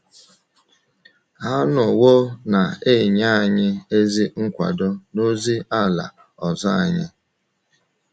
Ha anọwo na - enye anyị ezi nkwado n’ozi ala ọzọ anyị.